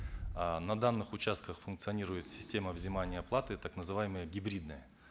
э на данных участках функционирует система взимания оплаты так называемая гибридная